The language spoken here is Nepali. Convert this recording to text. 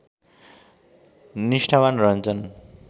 निष्ठावान् रहन्छन्